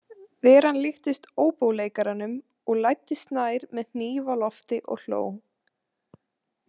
Veran líktist óbóleikaranum og læddist nær með hníf á lofti og hló.